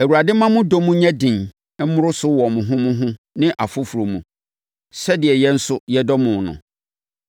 Awurade mma mo dɔ mu nyɛ den mmoro so wɔ mo ho mo ho ne afoforɔ mu, sɛdeɛ yɛn nso yɛdɔ mo no.